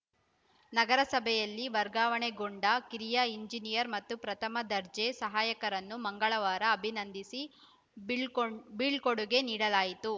ನಗರಸಭೆಯಲ್ಲಿ ವರ್ಗಾವಣೆಗೊಂಡ ಕಿರಿಯ ಎಂಜಿನಿಯರ್‌ ಮತ್ತು ಪ್ರಥಮ ದರ್ಜೆ ಸಹಾಯಕರನ್ನು ಮಂಗಳವಾರ ಅಭಿನಂದಿಸಿ ಬೀಳ್ಕೊಂ ಬೀಳ್ಕೊಡುಗೆ ನೀಡಲಾಯಿತು